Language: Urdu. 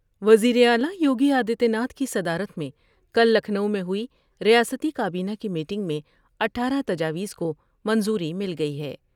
وزیر اعلی یوگی آدتیہ ناتھ کی صدارت میں کل لکھنو میں ہوئی ریاستی کا بینہ کی میٹنگ میں اٹھارہ تجاویز کو منظوری مل گئی ہے ۔